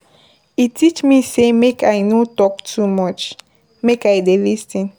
E teach me sey make I no talk too much, make I dey lis ten.